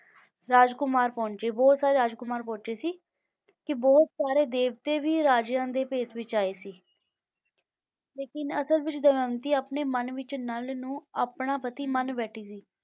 ਰਾਜਕੁਮਾਰ ਪਹੁੰਚੇ, ਬਹੁਤ ਸਾਰੇ ਰਾਜਕੁਮਾਰ ਪਹੁੰਚੇ ਸੀ, ਕਿ ਬਹੁਤ ਸਾਰੇ ਦੇਵਤੇ ਵੀ ਰਾਜਿਆਂ ਦੇ ਭੇਸ ਵਿੱਚ ਆਏ ਸੀ ਲੇਕਿੰਨ ਅਸਲ ਵਿੱਚ ਦਮਿਅੰਤੀ ਆਪਣੇ ਮਨ ਵਿੱਚ ਨਲ ਨੂੰ ਆਪਣਾ ਪਤੀ ਮੰਨ ਬੈਠੀ ਸੀ,